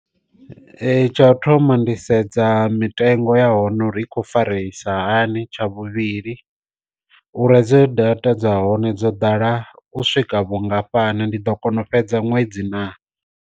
Ee tsha u thoma ndi sedza mitengo ya hone uri i kho fareisa hani tsha vhuvhili, uri hedzo data dza hone dzo ḓala u swika vhungafhani ndi ḓo kona u fhedza ṅwedzi na.